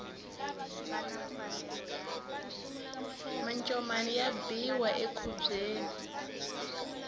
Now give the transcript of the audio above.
macomani ya biwa enkhubyeni